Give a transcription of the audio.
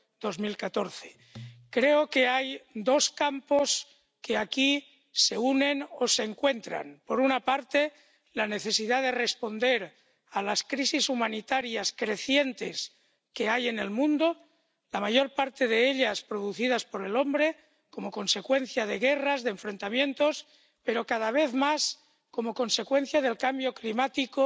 2014. Creo que hay dos campos que aquí se unen o se encuentran. Por una parte, la necesidad de responder a las crisis humanitarias crecientes que hay en el mundo —la mayor parte de ellas producidas por el hombre como consecuencia de guerras, de enfrentamientos, pero, cada vez más, como consecuencia del cambio climático